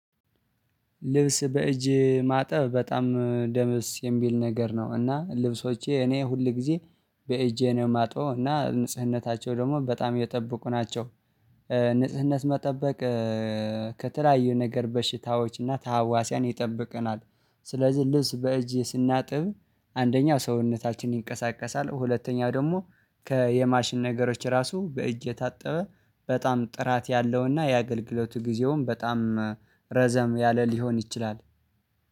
ልብስ በእጅ ማጠብ በጣም ደስ የሚል ነገር ነው እና ልብሶቼ እኔ ሁል ጊዜ በእጄ ነው የማጥበው እና ንጽህናቸው ደግሞ በጣም የጠበቁ ናቸው ንጽህናቸውን መጠበቅ ከተለያዩ ነገር በሽታዎች እና ተሃዋሲያን ይጠብቀናል። ስለዚህ ልብስ በእጅ ስናጥብ አንደኛው ሰውነታችን ይንቀሳቀሳል፣ ሁለተኛው ደግሞ ከየማሽን ነገሮች ራሱ በእጅ የታጠበ በጣም ጥራት ያለውና የአገልግሎቱ ጊዜውም በጣም ረዘም ያለ ሊሆን ይችላል።